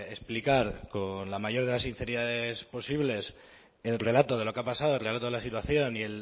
explicar con la mayor de las sinceridades posibles el relato de lo que ha pasado el relato de la situación y